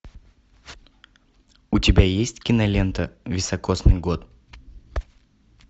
у тебя есть кинолента високосный год